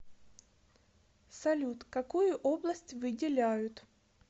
салют какую область выделяют